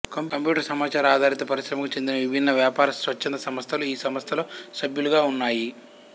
computer సమాచార ఆధారిత పరిశ్రమకు చెందిన విభిన్న వ్యాపార స్వచ్ఛంద సంస్థలు ఈ సంస్థలో సభ్యులుగా ఉన్నాయి